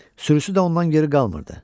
Sürüsü də ondan geri qalmırdı.